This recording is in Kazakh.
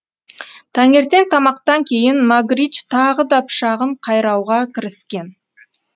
таңертең тамақтан кейін магридж тағы да пышағын қайрауға кіріскен